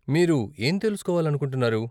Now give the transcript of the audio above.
మీరు ఏం తెలుసుకొవాలనుకుంటున్నారు?